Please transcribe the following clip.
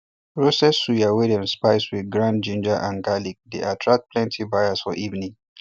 roasted suya wey dem spice with ground ginger and garlic dey attract plenty buyers for evening